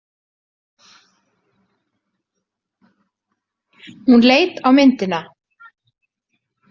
Hún leit á myndina.